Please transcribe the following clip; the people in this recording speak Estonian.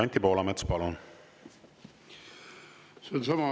Anti Poolamets, palun!